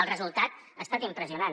el resultat ha estat impressionant